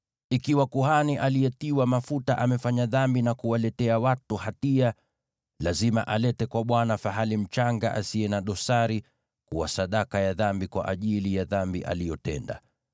“ ‘Ikiwa kuhani aliyetiwa mafuta amefanya dhambi na kuwaletea watu hatia, lazima alete kwa Bwana fahali mchanga asiye na dosari, kuwa sadaka ya dhambi kwa ajili ya dhambi aliyotenda.